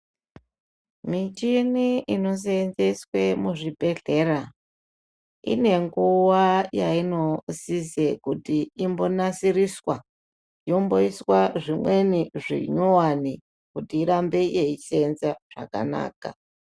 Michini inoseenzeswe muzvibhedhlera, ine nguwa yainosise kuti imbonasiriswa yomboiswa zvimweni zvinyuwani kuti irambe yeiseenza zvakanaka.